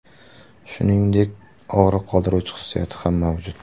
Shuningdek, og‘riq qoldiruvchi xususiyati ham mavjud.